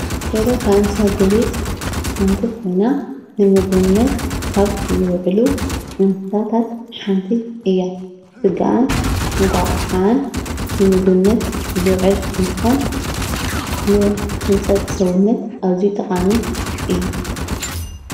ደርሆ ካብ እንስሳ ዘቤት ሓንቲ ኮይና ንምግብነት ካብ ዝውዕሉ እንስሳታት ሓንቲ እያ። ስግኣን እንቆቅሕኣን ንምግብነት ዝውዕል እንትኮን ን ህንፀት ሰውነት ኣዝዩ ጠቃሚ እዩ።